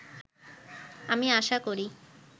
আমি আশা করি